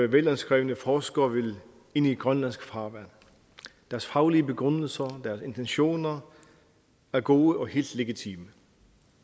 velanskrevne forskere vil ind i grønlandsk farvand deres faglige begrundelser og deres intentioner er gode og helt legitime